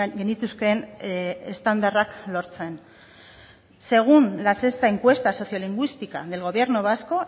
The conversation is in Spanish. genituzkeen estandarrak lortzen según la sexta encuesta socio lingüística del gobierno vasco